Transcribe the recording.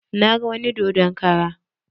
Na ga wani dodon kara